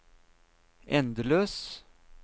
endeløs